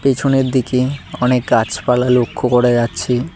পিছনের দিকে অনেক গাছপালা লক্ষ করা যাচ্ছে।